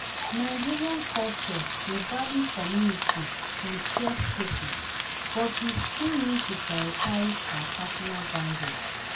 Nigerian culture dey value community and share spaces, but we still need to prioritize our personal boundaries.